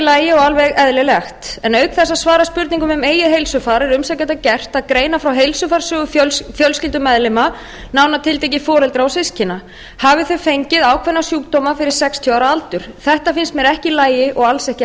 lagi og alveg eðlilegt en auk þess að svara spurningum um eigið heilsufar er umsækjanda gert að greina frá heilsufarssögu fjölskyldumeðlima nánar tiltekið foreldra og systkina hafi þau fengið ákveðna sjúkdóma fyrir sextíu ára aldur þetta finnst mér ekki í lagi og alls ekki